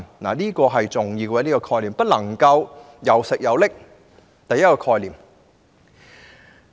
這點十分重要，總不能"又食又拎"的。